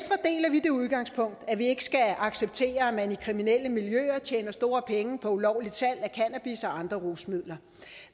vi det udgangspunkt at vi ikke skal acceptere at man i kriminelle miljøer tjener store penge på ulovligt salg af cannabis og andre rusmidler